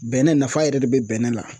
Bɛnɛ nafa yɛrɛ de bɛ bɛnɛ la.